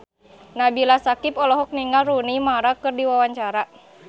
Nabila Syakieb olohok ningali Rooney Mara keur diwawancara